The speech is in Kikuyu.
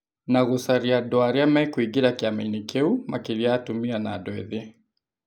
Na gũcaria andũ arĩa mekũingĩra kĩama-inĩ kĩu, makĩria atumia na andũ ethĩ.